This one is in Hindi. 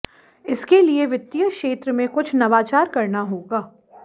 इसके लिए वित्तीय क्षेत्र में कुछ नवाचार करना होगा